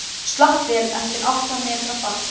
Slapp vel eftir átta metra fall